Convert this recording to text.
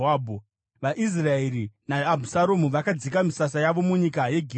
VaIsraeri naAbhusaromu vakadzika misasa yavo munyika yeGireadhi.